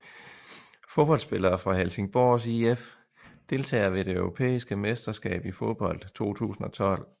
Fodboldspillere fra Helsingborgs IF Deltagere ved det europæiske mesterskab i fodbold 2012